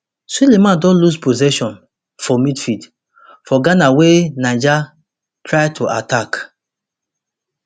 suleman don lose possession for midfield for ghana wey niger try to attack